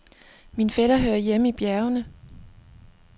Min fætter hører hjemme i bjergene.